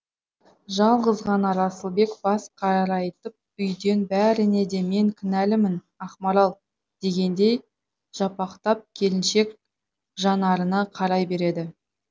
жалғыз ғана расылбек бас қарайтып үйден бәріне де мен кінәлімін ақмарал дегендей жапақтап келіншек жанарына қарай береді